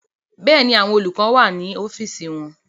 Bẹ́ẹ̀ni, àwọn olùkọ́ni wà ní ọ́fíìsì wọn